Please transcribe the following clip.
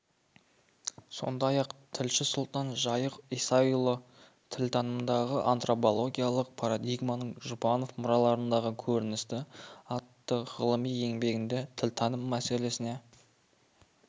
сондай-ақ тілші сұлтан жайық исаұлы тілтанымдағы антропологиялық парадигманың жұбанов мұраларындағы көрінісі атты ғылыми еңбегінде тілтаным мәселесіне